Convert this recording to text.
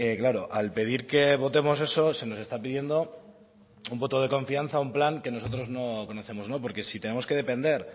claro al pedir que votemos eso se nos está pidiendo un voto de confianza a un plan que nosotros no conocemos porque si tenemos que depender